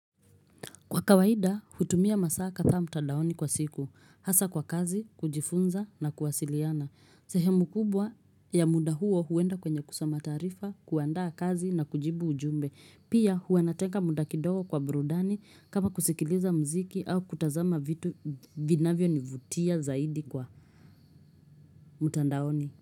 Kwa kawaida, hutumia masaa katha mtandaoni kwa siku. Hasa kwa kazi, kujifunza na kuwasiliana. Sehemu kubwa ya muda huo huenda kwenye kusoma taarifa kuandaa kazi na kujibu ujumbe. Pia huanatenga muda kidogo kwa burudani kama kusikiliza mziki au kutazama vitu vinavyo nivutia zaidi kwa mutandaoni.